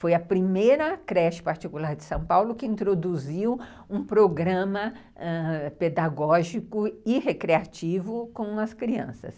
Foi a primeira creche particular de São Paulo que introduziu um programa pedagógico e recreativo com as crianças.